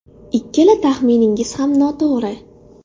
Ikkala taxminingiz ham noto‘g‘ri.